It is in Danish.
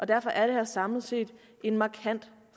derfor er det her samlet set en markant